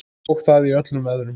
Og það í öllum veðrum.